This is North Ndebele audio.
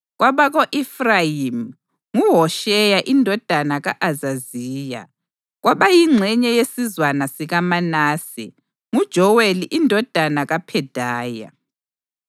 kwabako-Efrayimi: nguHosheya indodana ka-Azaziya; kwabayingxenye yesizwana sikaManase: nguJoweli indodana kaPhedaya;